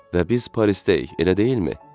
Və biz Parisdəyik, elə deyilmi?